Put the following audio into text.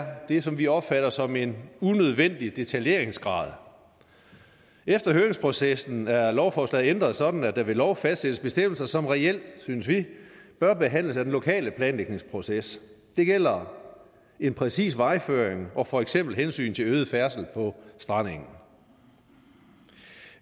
det som vi opfatter som en unødvendig detaljeringsgrad efter høringsprocessen er lovforslaget ændret sådan at der ved lov fastsættes bestemmelser som reelt synes vi bør behandles af den lokale planlægningsproces det gælder en præcis vejføring og for eksempel hensyn til øget færdsel på strandengen